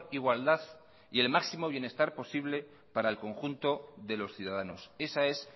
igualdad y el máximo bienestar posible para el conjunto de los ciudadanos esa es